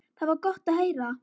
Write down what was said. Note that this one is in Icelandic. Það var gott að heyra.